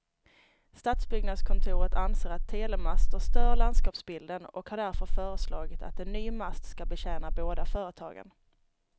Stadsbyggnadskontoret anser att telemaster stör landskapsbilden och har därför föreslagit att en ny mast ska betjäna båda företagen.